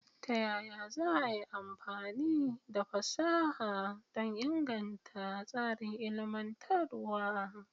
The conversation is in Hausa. Ta yaya za a yi amfani da fasaha don inganta tsarin ilmantarwa?